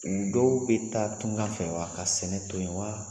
Dɔw be taa tunga fɛ wa ka sɛnɛ to yen wa?